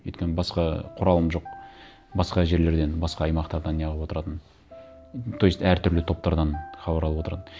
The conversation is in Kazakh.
өйткені басқа құралым жоқ басқа жерлерден басқа аймақтардан не қылып отыратын то есть әртүрлі топтардан хабар алып отыратын